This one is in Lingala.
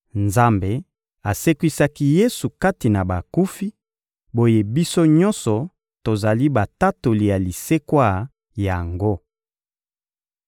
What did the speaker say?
Nzambe asekwisaki Yesu kati na bakufi; boye biso nyonso tozali batatoli ya lisekwa yango.